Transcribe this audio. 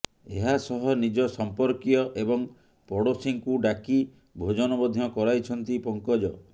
ଏହା ସହ ନିଜ ସଂପର୍କୀୟ ଏବଂ ପଡୋଶୀଙ୍କୁ ଡାକି ଭୋଜନ ମଧ୍ୟ କରାଇଛନ୍ତି ପଙ୍କଜ